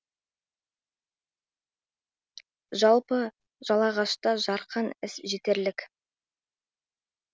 жалпы жалағашта жарқын іс жетерлік